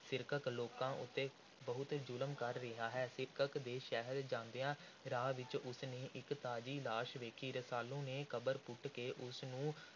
ਸਿਰਕੱਪ ਲੋਕਾਂ ਉੱਤੇ ਬਹੁਤ ਜ਼ੁਲਮ ਕਰ ਰਿਹਾ ਹੈ। ਸਿਰਕੱਪ ਦੇ ਸ਼ਹਿਰ ਜਾਂਦਿਆਂ ਰਾਹ ਵਿੱਚ ਉਸ ਨੇ ਇਕ ਤਾਜ਼ੀ ਲਾਸ਼ ਵੇਖੀ। ਰਸਾਲੂ ਨੇ ਕਬਰ ਪੁੱਟ ਕੇ ਉਸ ਨੂੰ